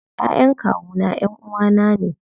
Ƴaƴan kawuna ƴanʼuwa na ne.